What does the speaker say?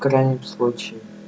в крайнем случае